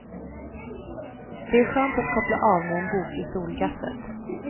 Det är skönt att koppla av med en bok i solgasset.